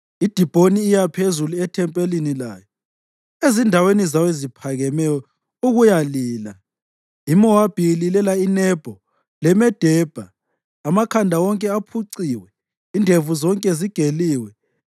IDibhoni iya phezulu ethempelini layo; ezindaweni zayo eziphakemeyo ukuyalila; iMowabi ililela iNebho leMedebha. Amakhanda wonke aphuciwe; indevu zonke zigeliwe.